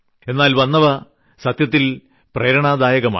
എന്നാൽ വന്നവ സത്യത്തിൽ പ്രേരണാദായകമാണ്